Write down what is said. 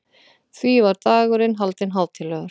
Því var dagurinn haldinn hátíðlegur.